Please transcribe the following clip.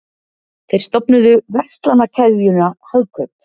þeir stofnuðu verslanakeðjuna hagkaup